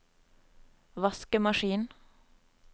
vaskemaskin